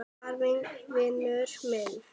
var vinur minn.